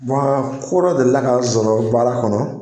ko dɔ delila ka n sɔrɔ baara kɔnɔ